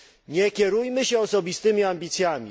Nie kierujmy się osobistymi ambicjami.